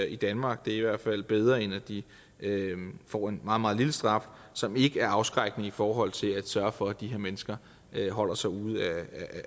i danmark det er i hvert fald bedre end at de får en meget meget lille straf som ikke er afskrækkende i forhold til at sørge for at de her mennesker holder sig ude